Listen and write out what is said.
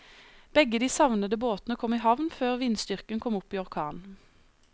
Begge de savnede båtene kom i havn før vindstyrken kom opp i orkan.